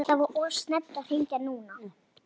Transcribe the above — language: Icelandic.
Það var of snemmt að hringja núna.